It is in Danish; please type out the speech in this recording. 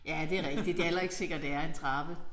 Ja det er rigtigt det er heller sikkert det er en trappe